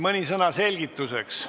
Mõni sõna selgituseks.